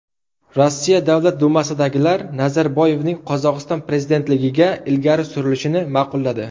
Rossiya Davlat dumasidagilar Nazarboyevning Qozog‘iston prezidentligiga ilgari surilishini ma’qulladi.